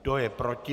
Kdo je proti?